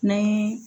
N'an ye